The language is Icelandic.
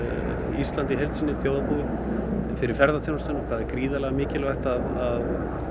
Ísland í heild sinni þjóðarbúið fyrir ferðaþjónustuna það er gríðarlega mikilvægt að